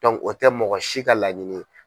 o tɛ mɔgɔ si ka laɲini ye.